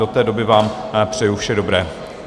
Do té doby vám přeju vše dobré.